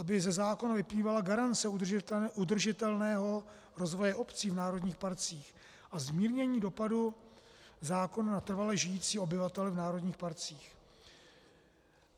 Aby ze zákona vyplývala garance udržitelného rozvoje obcí v národních parcích a zmírnění dopadu zákona na trvale žijící obyvatele v národních parcích.